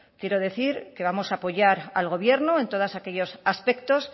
quiero decir que vamos a apoyar al gobierno en todos aquellos aspectos